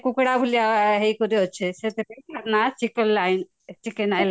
କୁକୁଡ଼ା ଭଳିଆ ହେଇକିରି ଅଛି ସେଥିପାଇଁ ତାର ନା chicken ଲାଇନେ